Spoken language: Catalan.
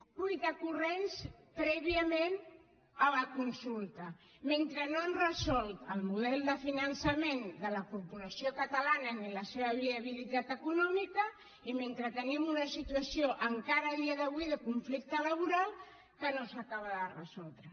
a cuita corrents prèviament a la consulta mentre no han resolt el model de finançament de la corporació catalana ni la seva viabilitat econòmica i mentre tenim una situació encara a dia d’avui de conflicte laboral que no s’acaba de resoldre